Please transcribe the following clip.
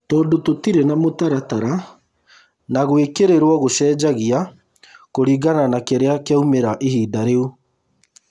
Tondũ tũtirĩ na mũtaratara na gũĩkĩrĩrwo gũcenjagia kũringana na kĩrĩa kĩaumĩra ihinda rĩu